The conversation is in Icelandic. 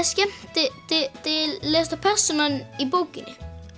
skemmtilegasta persónan í bókinni